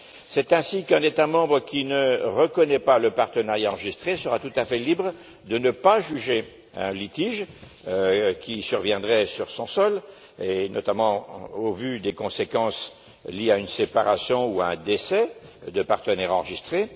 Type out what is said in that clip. C'est ainsi qu'un État membre qui ne reconnaît pas le partenariat enregistré sera tout à fait libre de ne pas juger un litige qui surviendrait sur son sol et, notamment, au vu des conséquences liées à une séparation ou à un décès de partenaires enregistrés.